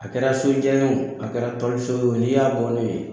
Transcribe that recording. A kɛra so kan ye o, a kɛra tɔli so ye la, n'i y'a bɔ n'o ye